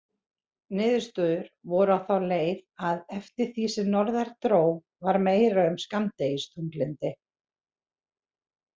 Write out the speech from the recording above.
Niðurstöður voru á þá leið að eftir því sem norðar dró var meira um skammdegisþunglyndi.